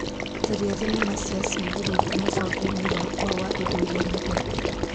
Tharia thinema cia ciĩburuta mũbango-inĩ wakwa wa indo iria nyendete .